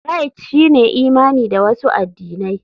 Rite shine imani da wasu addinai.